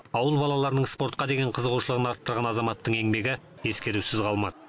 ауыл балаларының спортқа деген қызығушылығын арттырған азаматтың еңбегі ескерусіз қалмады